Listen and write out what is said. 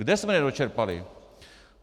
Kde jsme nedočerpali?